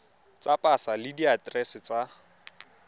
tsa pasa le diaterese tsa